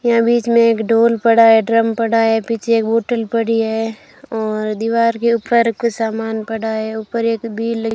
यहां बीच में एक ढोल पड़ा है ड्रम पड़ा है पीछे एक बॉटल पड़ी है और दीवार के ऊपर कुछ सामान पड़ा है ऊपर एक --